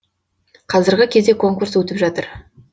қазіргі кезде конкурс өтіп жатыр